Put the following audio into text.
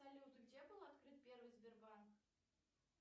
салют где был открыт первый сбербанк